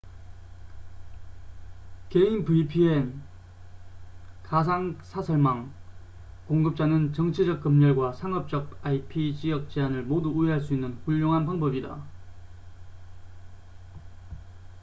개인 vpn가상 사설망 공급자는 정치적 검열과 상업적 ip-지역 제한을 모두 우회할 수 있는 훌륭한 방법이다